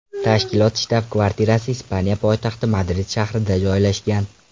Tashkilot shtab-kvartirasi Ispaniya poytaxti Madrid shahrida joylashgan.